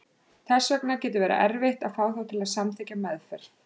Þess vegna getur verið erfitt að fá þá til að samþykkja meðferð.